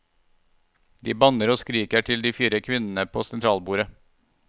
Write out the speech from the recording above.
De banner og skriker til de fire kvinnene på sentralbordet.